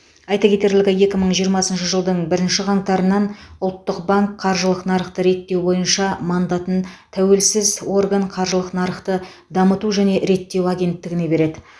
айта кетерлігі екі мың жиырмасыншы жылдың бірінші қаңтарынан ұлттық банк қаржылық нарықты реттеу бойынша мандатын тәуелсіз орган қаржылық нарықты дамыту және реттеу агенттігіне береді